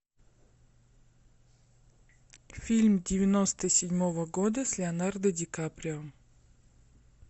фильм девяносто седьмого года с леонардо ди каприо